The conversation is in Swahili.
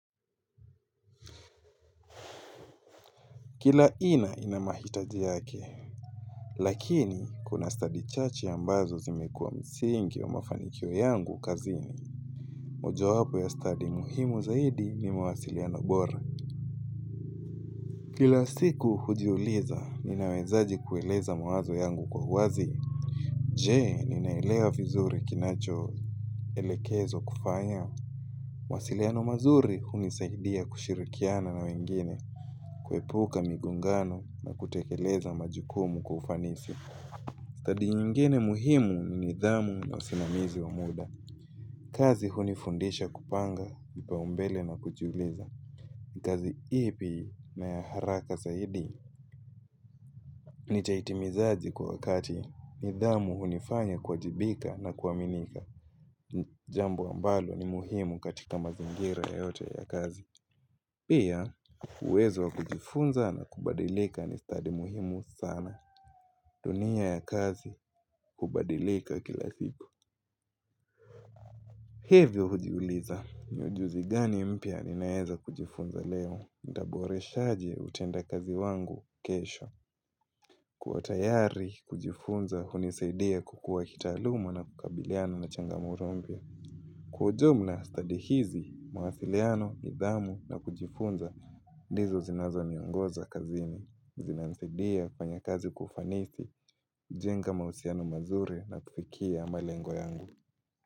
Kila ina inamahitaji yake, lakini kuna study chache ambazo zimekuwa msingi wa mafanikio yangu kazini. Mojawapo ya stadi muhimu zaidi ni mawasiliano bora. Kila siku hujiuliza, ninawezaje kueleza mawazo yangu kwa uwazi. Je, ninaelewa vizuri kinachoelekezwa kufanya. Mawasiliano mazuri hunisaidia kushirikiana na wengine, kuepuka migongano na kutekeleza majukumu kwa ufanisi. Stadi nyingine muhimu ni nidhamu na usimamizi wa muda. Kazi hunifundisha kupanga, kipaombele na kujiuliza. Kazi ipi na ya haraka zaidi nitaitimizaje kwa wakati. Nidhamu hunifanya kuwajibika na kuaminika. Jambo ambalo ni muhimu katika mazingira yote ya kazi. Pia, uwezo wa kujifunza na kubadilika ni stadi muhimu sana. Dunia ya kazi, hubadilika kila siku. Hivyo hujiuliza. Ni ujuzi gani mpya nimeweza kujifunza leo. Nitaboreshaje utendakazi wangu kesho. Kuwa tayari, kujifunza, hunisaidia kukua kitaaluma na kukabiliana na changamoto mpya. Kwa ujumla, stadi hizi, mawasiliano, nidhamu na kujifunza, ndizo zinazo niongoza kazini. Zinanisidia kufanya kazi kwa ufanisi, kujenga mahusiano mazuri na kufikia malengo yangu.